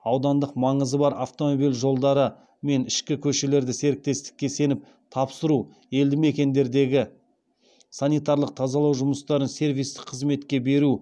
аудандық маңызы бар автомобиль жолдары мен ішкі көшелерді серіктестікке сеніп тапсыру елді мекендердегі санитарлық тазалау жұмыстарын сервистік қызметке беру